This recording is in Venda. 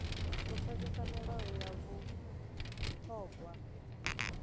u pfesesa milayo ya vhuṱhogwa